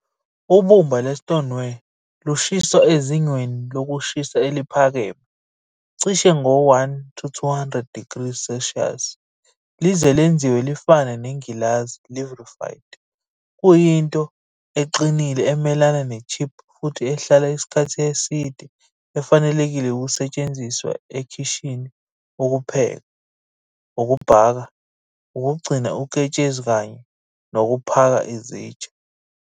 Ubumba lwe-Stoneware lushiswa ezingeni lokushisa eliphakeme, cishe ngo-1 to 200 degrees Celsius lize lenziwe lifane nengilazi, livrified. Kuyinto eqinile, emelana ne-chip futhi ehlala isikhathi eside efanelekile ukusetshenziswa ekhishini ukupheka, ukubhaka, ukugcina uketshezi kanye nokuphaka izitsha.